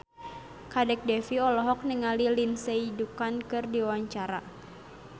Kadek Devi olohok ningali Lindsay Ducan keur diwawancara